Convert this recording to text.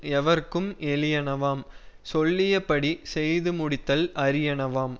எவர்க்கும் எளியனவாம் சொல்லிய படி செய்து முடித்தல் அரியனவாம்